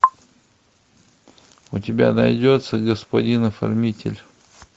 у тебя найдется господин оформитель